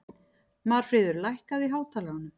Marfríður, lækkaðu í hátalaranum.